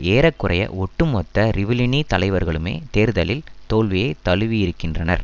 ஏற குறைய ஒட்டுமொத்த றிவிலினி தலைவர்களுமே தேர்தலில் தோல்வியை தழுவியிருக்கின்றனர்